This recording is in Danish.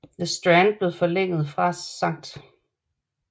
The Strand blev forlænget fra St